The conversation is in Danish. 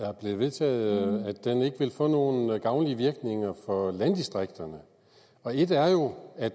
er blevet vedtaget ikke vil få nogen gavnlige virkninger for landdistrikterne et er jo at